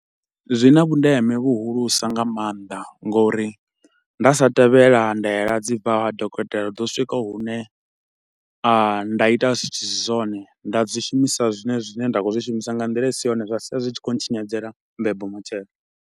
Zwina vhundeme vhuhulusa nga maanḓa nga uri nda sa tevhela ndaela dzi bvaho ha dokotela hu ḓo swika hune a nda ita zwithu zwi si zwone nda dzi shumisa zwine zwine nda khou zwi shumisa nga nḓila i si yone zwa sia zwi tshi khou ntshinyadzela mbebo matshelo.